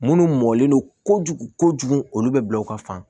Munnu mɔlen no kojugu kojugu olu bɛ bila u ka fan